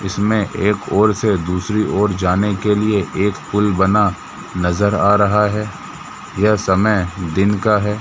इसमें एक और से दूसरी और से जाने के लिए एक पुल बना नजर आ रहा है यह समय दिन का है।